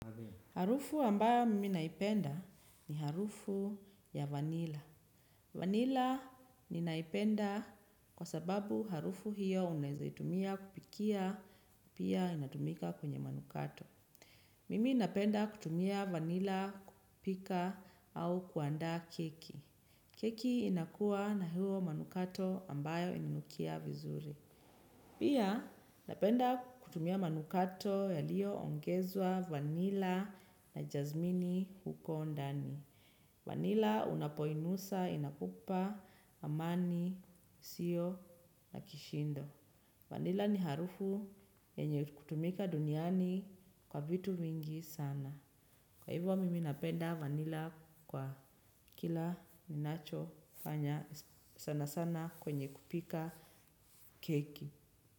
Harufu ambayo mimi naipenda ni harufu ya vanilla. Vanilla ninaipenda kwa sababu harufu hiyo unaeza itumia kupikia pia inatumika kwenye manukato. Mimi napenda kutumia vanilla kupika au kuandaa keki. Keki inakuwa na hayo manukato ambayo inanukia vizuri. Pia napenda kutumia manukato yaliyoongezwa vanilla na jazmini huko ndani. Vanilla unapoinusa, inakupa, amani, isiyo na kishindo. Vanilla ni harufu yenye kutumika duniani kwa vitu vingi sana. Kwa hivyo mimi napenda vanilla kwa kila ninachofanya sana sana kwenye kupika keki.